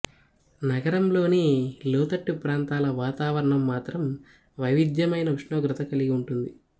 నగరంలోని లోతట్టు ప్రాంతాల వాతావరణం మాత్రం వైవిధ్యమైన ఉష్ణోగ్రత కలిగి ఉంటుంది